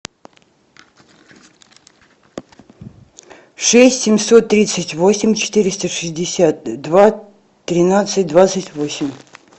шесть семьсот тридцать восемь четыреста шестьдесят два тринадцать двадцать восемь